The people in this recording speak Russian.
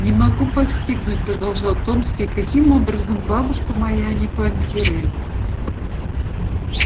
не могу постигнуть продолжал томский каким образом бабушка моя не понтирует